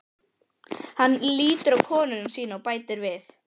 Hann lítur á konu sína og bætir við